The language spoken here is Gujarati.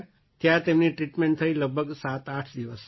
ત્યાં તેમની ટ્રીટમેન્ટ થઈ લગભગ સાતઆઠ દિવસ